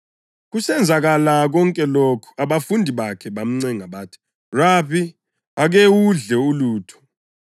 Kusenzakala konke lokhu abafundi bakhe bamncenga bathi, “Rabi, ake udle ulutho.”